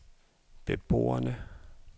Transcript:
beboerne